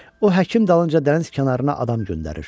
O həkim dalınca dəniz kənarına adam göndərir.